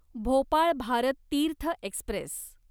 Bhopal Bharat Tirth Express